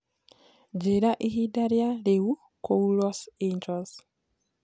njĩĩraĩhĩnda rĩa riu kũũ los angels